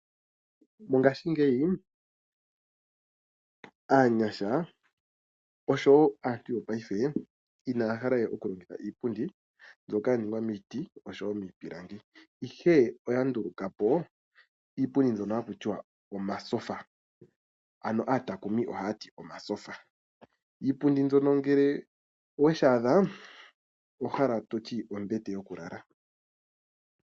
Mongashingeyi aanyasha oshowo aantu yopaife inaya hala we okulongitha iipundi mbyoka yaningwa miiti noshowo miipilangi. Ihe oya ndulukapo iipundi mboka hayi ithanwa omatyofa. Iipundi mbyono ngele oweyi adha, oto hala wutye ombete yokulala.